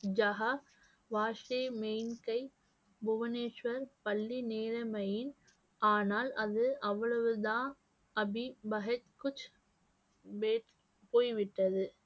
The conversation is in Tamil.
புவனேஸ்வர் பள்ளி நேர்மையின் ஆனால் அது அவ்வளவுதான் போய்விட்டது